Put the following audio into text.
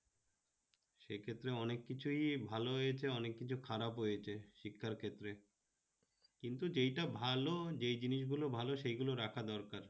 সেক্ষেত্রে অনেক কিছুই ভালো হয়েছে অনেক কিছু খারাপ হয়েছে শিক্ষারক্ষেত্রে, কিন্তু যেইটা ভালো যে জিনিসগুলো ভালো সেইটা রাখা দরকার